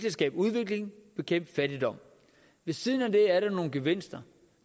at skabe udvikling bekæmpe fattigdom ved siden af det er der nogle gevinster